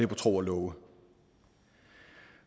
på tro og love